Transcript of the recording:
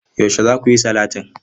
Yaushe za ku yi salatin?